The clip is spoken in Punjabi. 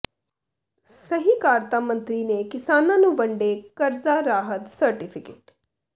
ਸਹਿਕਾਰਤਾ ਮੰਤਰੀ ਨੇ ਕਿਸਾਨਾਂ ਨੂੰ ਵੰਡੇ ਕਰਜ਼ਾ ਰਾਹਤ ਸਰਟੀਫ਼ੀਕੇਟ